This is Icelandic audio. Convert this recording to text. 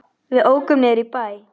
Við ókum niður í bæ.